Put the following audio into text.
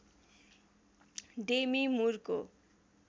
Demi मुरको